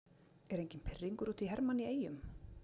Er enginn pirringur út í Hermann í Eyjum?